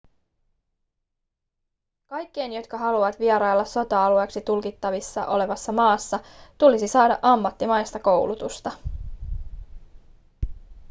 kaikkien jotka haluavat vierailla sota-alueeksi tulkittavissa olevassa maassa tulisi saada ammattimaista koulutusta